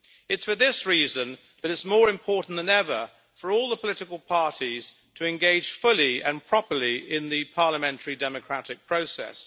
It is for this reason that it is more important than ever for all the political parties to engage fully and properly in the parliamentary democratic process.